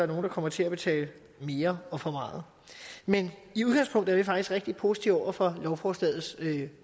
nogle der kommer til at betale mere og for meget men i udgangspunktet er vi faktisk rigtig positive over for lovforslagets